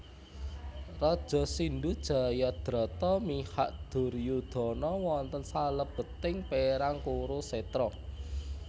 Raja Sindhu Jayadrata mihak Duryodana wonten salebeting perang Kurusetra